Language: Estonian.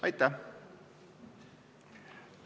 Aitäh!